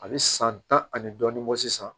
A bɛ san tan ani dɔɔnin bɔ sisan